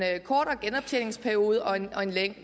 kortere genoptjeningsperiode og en